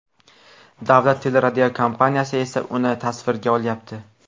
Davlat teleradiokompaniyasi esa uni tasvirga olyapti.